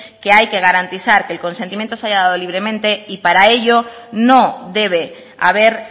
que hay que garantizar que el consentimiento se haya dado libremente y para ello no debe haber